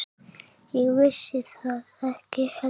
Ég vissi það ekki heldur.